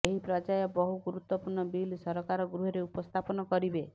ଏହି ପର୍ୟ୍ୟାୟ ବହୁ ଗୁରୁତ୍ୱପୂର୍ଣ୍ଣ ବିଲ୍ ସରକାର ଗୃହରେ ଉପସ୍ଥାପନ କରିବେ